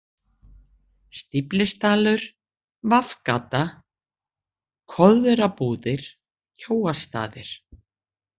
Stíflisdalur, V-Gata, Koðrabúðir, Kjóastaðir